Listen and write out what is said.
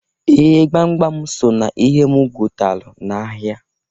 Ee! Gbamgbam so n'ihe m gotalụ n'ahịa.